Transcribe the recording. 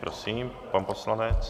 Prosím, pane poslanče.